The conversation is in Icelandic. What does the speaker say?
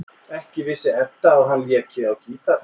Ekki vissi Edda að hann léki á gítar.